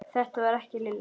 Þetta var ekki Lilla.